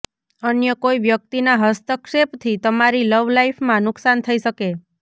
અન્ય કોઈ વ્યક્તિના હસ્તક્ષેપથી તમારી લવલાઈફમાં નુકસાન થઈ શકે